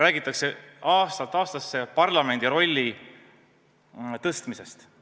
Aastast aastasse räägitakse parlamendi rolli suurendamisest.